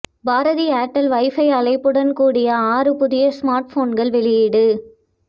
Bharathi Airtel wifi அழைப்புடன் கூடிய ஆறு புதிய ஸ்மார்ட் போன்கள் வெளியீடு